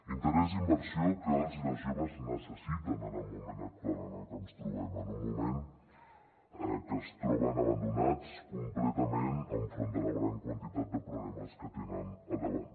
interès i inversió que els i les joves necessiten en el moment actual en el que ens trobem en un moment que es troben abandonats completament enfront de la gran quantitat de problemes que tenen al davant